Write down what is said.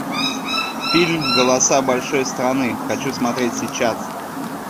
фильм голоса большой страны хочу смотреть сейчас